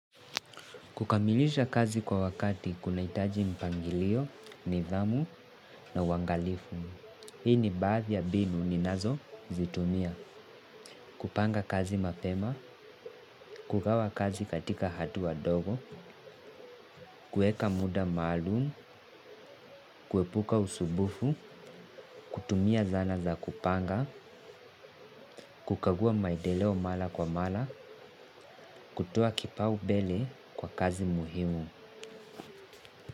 Kukamilisha kazi kwa wakati kunahitaji mpangilio, nidhamu na uangalifu. Hii ni baathi ya mbinu ninazo zitumia. Kupanga kazi mapema, kugawa kazi katika hatua ndogo, kueka muda maalum, kuepuka usumbufu, kutumia zana za kupanga, kukagua maedeleo mara kwa mara, kutoa kipau mbele kwa kazi muhimu.